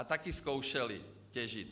A také zkoušely těžit.